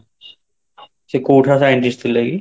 ସେ କୋଉଠାର scientist ଥିଲେକି?